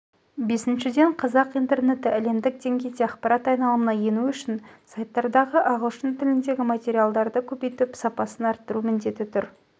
бесіншіден қазақ интернеті әлемдік деңгейде ақпарат айналымына ену үшін сайттардағы ағылшын тіліндегі материалдарды көбейтіп сапасын арттыру міндеті тұр